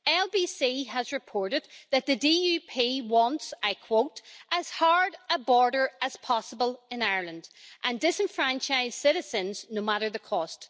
LBC has reported that the DUP wants, I quote, as hard a border as possible' in Ireland and disenfranchised citizens, no matter the cost.